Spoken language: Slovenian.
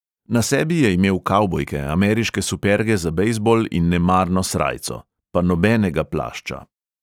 Na sebi je imel kavbojke, ameriške superge za bejzbol in nemarno srajco – pa nobenega plašča.